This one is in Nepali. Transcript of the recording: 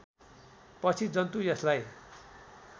पछि जन्तु यसलाई